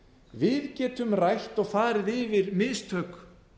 við getum rætt og farið yfir mistök